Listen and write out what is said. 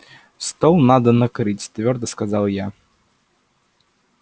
стол надо накрыть твёрдо сказала я